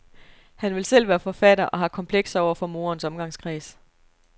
Han vil selv være forfatter og har komplekser over for moderens omgangskreds.